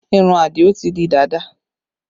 Irun Adio ti di dàda